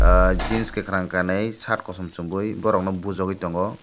ah jeans kakorang kanui shirt kosom somboi borok no bujogoi tango.